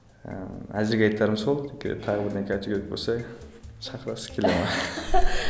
ыыы әзірге айтарым сол теперь тағы бірдеңе айту керек болса шақырасыз келемін